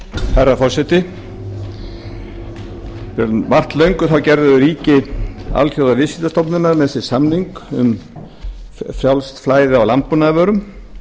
herra forseti um margt löngu gerðu ríki alþjóðaviðskiptastofnunarinnar með sér samning um frjálst flæði á landbúnaðarvörum